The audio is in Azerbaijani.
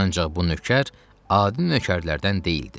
Ancaq bu nökər adi nökərlərdən deyildi.